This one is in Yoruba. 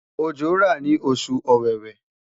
ojo ra ni osu Ọwẹ́wẹ̀